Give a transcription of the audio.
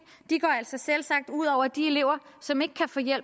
går altså selvsagt ud over de elever som